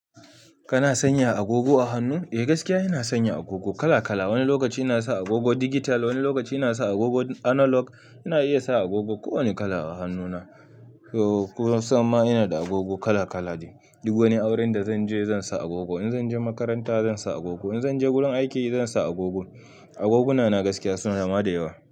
Kana sanya agogo a hannu? Eh gaskiya ina sanya agogo kala kala. Wani lokaci ina sa agogo digital, wani lokaci ina sa agogo analog. Ina iya sa agogo ko wane kala a hannuna. Ko sama ina da agogo kala kala. Duk wani auren da zanje zansa agogo. In zanje makaranta zansa agogo. In zanje gurin aiki zansa agogo. Agoguna na gaskiya suna ma da yawa.